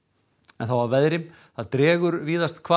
þá að veðri það dregur víðast hvar